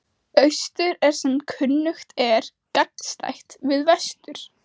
Austur er sem kunnugt er gagnstætt við vestur.